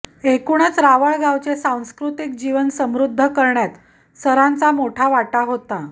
एकूणच रावळगावचे सांस्कृतिक जीवन समृद्ध करण्यात सरांचा मोठा वाटा होता